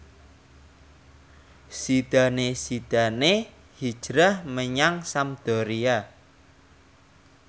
Zidane Zidane hijrah menyang Sampdoria